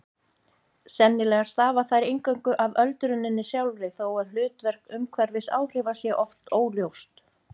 Sennilega stafa þær eingöngu af öldruninni sjálfri þó að hlutverk umhverfisáhrifa sé oft óljóst.